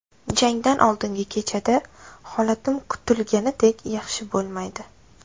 Jangdan oldingi kechada holatim kutilganidek yaxshi bo‘lmaydi.